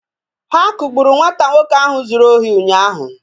Ha kugburu nwata nwoke ahụ zuru ohi ụnyaahụ